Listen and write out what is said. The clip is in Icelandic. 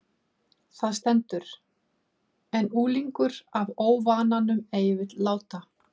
Þar stendur: En unglingur af óvananum ei vill láta